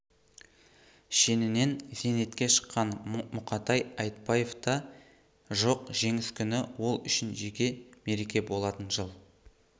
шенінен зейнетке шыққан мұқатай айтбаев та жок жеңіс күні ол үшін жеке мереке болатын жыл